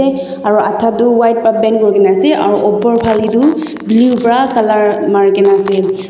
aro ada toh white para paint kuri kena ase aru opor phane toh blue para colour marikena ase.